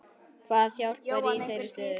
Hvað hjálpar í þeirri stöðu?